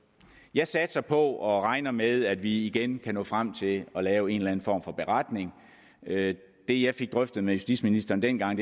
jeg satser på og regner med at vi igen kan nå frem til at lave en eller en form for beretning det jeg fik drøftet med justitsministeren dengang